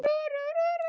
Ég elska töltið.